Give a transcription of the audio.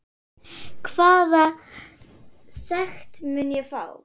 Hvaða sekt mun ég fá?